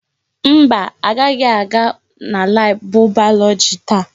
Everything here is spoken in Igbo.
Mba, agaghị aga na laabụ bayọlọji taa.